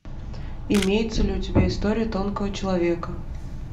имеется ли у тебя история тонкого человека